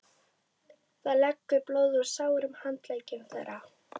Það lekur blóð úr sárum handleggjum þeirra.